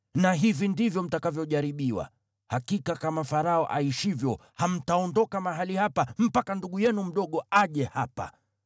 Na hivi ndivyo mtakavyojaribiwa: Hakika kama Farao aishivyo, hamtaondoka mahali hapa mpaka ndugu yenu mdogo aje hapa.